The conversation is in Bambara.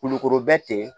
Kulukoro bɛ ten